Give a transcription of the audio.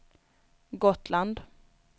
Gotland